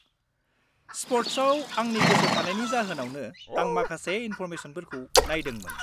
-स्पर्ट्सआव आंनि गोसोथानायनि जाहोनावनो आं माखासे इनफ'रमेसनफोरखौ नायदोंमोन।